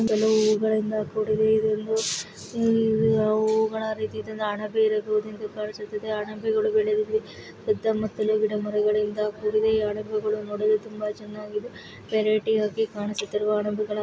ಹೂ ಹೂಗಳಿಂದ ಕೂಡಿದೆ ಇದೊಂದು ಇವು ಹೂಗಳರಿತಿ ಹಣಬೆ ಹಣಬೆ ಗಳು ಬೇರೆ ರೀತಿಯಲ್ಲಿ ಕಳಿಸುತಾದ್ದೆ ಹಣಬೆಗಳು ಬೆಲೆಸುತದೆ ಯುದ ಮತ್ತು ದ್ರಾವಿಡ ಮರಗಳಿಂದ ಕೂಡಿದೆ ಈ ಹಣಬೆಗಳು ನೋಡಲು ತುಂಬಬ ಚೆನ್ನಾಗಿದೆ ವೆರೈಟೀ ಆಗಿ ಕಾಣಿಸುತಿದೆ ಹಣಬೆಗಳ--